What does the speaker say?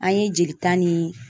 An ye jelita ni